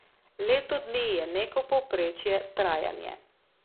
Leto dni je neko povprečno trajanje.